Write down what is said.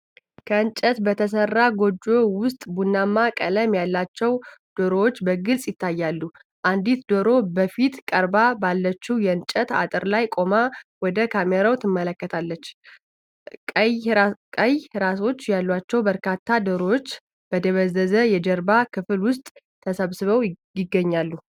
ከእንጨት በተሠራ ጎጆ ውስጥ፣ ቡናማ ቀለም ያላቸው ዶሮዎች በግልጽ ይታያሉ። አንዲት ዶሮ በፊት ቀርባ ባለችው የእንጨት አጥር ላይ ቆማ፣ ወደ ካሜራው ትመለከታለች። ቀይ ራሶች ያላቸው በርካታ ዶሮዎች በደበዘዘው የጀርባ ክፍል ውስጥ ተሰብስበው ይገኛሉ።